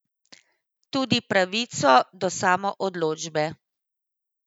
Tudi pravico do samoodločbe.